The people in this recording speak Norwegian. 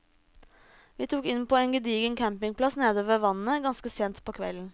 Vi tok inn på en gedigen campingplass nede ved vannet ganske sent på kvelden.